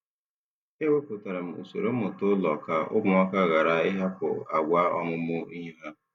E wepụtara m usoro mmụta ụlọ ka ụmụaka ghara ịhapụ àgwà ọmụmụ ihe ha.